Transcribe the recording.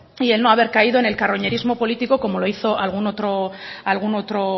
y el no haber caído en el carroñerismo político como lo hizo algún otro